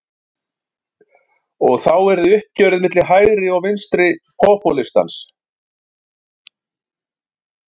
Og þá yrði uppgjörið milli hægri og vinstri popúlistans.